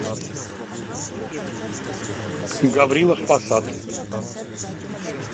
гаврилов посад